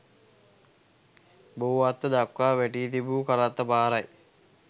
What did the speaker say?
බෝවත්ත දක්වා වැටී තිබූ කරත්ත පාරයි.